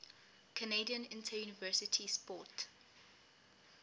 canadian interuniversity sport